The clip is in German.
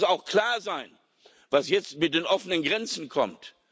Und es muss auch klar sein, was jetzt mit den offenen Grenzen kommt.